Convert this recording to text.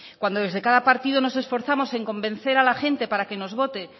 cuando desde cada partido nos esforzamos en convencer a la gente para que nos vote